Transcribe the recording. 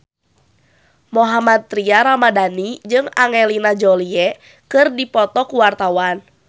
Mohammad Tria Ramadhani jeung Angelina Jolie keur dipoto ku wartawan